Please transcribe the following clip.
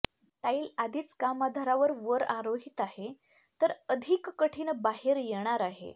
tile आधीच काम आधारावर वर आरोहित आहे तर अधिक कठीण बाहेर येणार आहे